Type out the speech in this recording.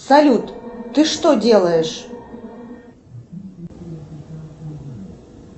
салют ты что делаешь